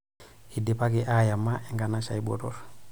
Eidipaki aayama enkanashe ai botorr.